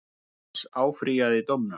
Jónas áfrýjaði dómnum.